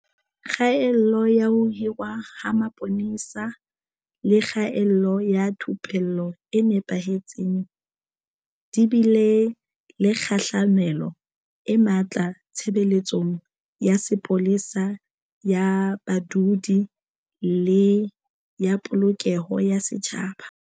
Kgaello ya ho hirwa ha mapolesa le kgaello ya thupello e nepahetseng di bile le kgahlamelo e matla tshebeletsong ya sepolesa ya badudi le ya Polokeho ya Setjhaba.